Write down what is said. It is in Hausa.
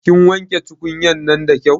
Kin wanke tukunya'nan da kyau?